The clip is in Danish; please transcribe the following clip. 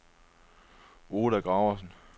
Oda Gravesen